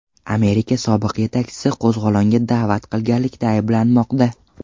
Amerika sobiq yetakchisi qo‘zg‘olonga da’vat qilganlikda ayblanmoqda.